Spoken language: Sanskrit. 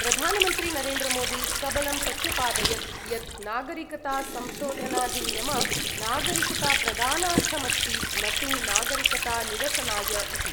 प्रधानमन्त्री नरेन्द्रमोदी सबलं प्रत्यपादयत् यत् नागरिकतासंशोधनाधिनियम नागरिकताप्रदानार्थमस्ति न तु नागरिकतानिरसनाय इति।